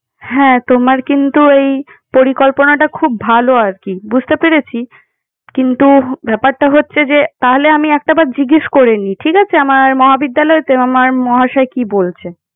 হ্যাঁ, তোমার কিন্তু ওই পরিকল্পনাটা খুব ভালো আর কি। বুঝতে পেরেছি। কিন্তু ব্যাপারটা হচ্ছে যে, তাহলে আমি একটা বার জিজ্ঞেস করে নিই। ঠিক আছে? আমার মহাবিদ্যালয়ের আমার মহাশয় কি বলছে।